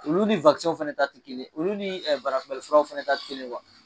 Olu ni w fɛnɛ ta te kelen. Olu ni barakunbɛli furaw fɛnɛ ta te kelen ye .